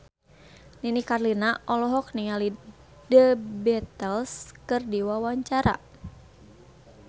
Nini Carlina olohok ningali The Beatles keur diwawancara